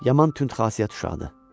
Yaman tündxasiyyət uşaqdır.